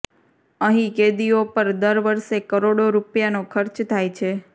અહીં કેદીઓ પર દર વર્ષે કરોડો રૂપિયાનો ખર્ચ થાય છે